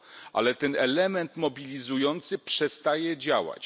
Ale ten element mobilizujący przestaje działać.